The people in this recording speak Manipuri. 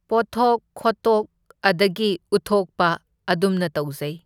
ꯄꯣꯠꯊꯣꯛ ꯈꯣꯠꯇꯣꯛ ꯑꯗꯒꯤ ꯎꯠꯊꯣꯛꯄ ꯑꯗꯨꯝꯅ ꯇꯧꯖꯩ꯫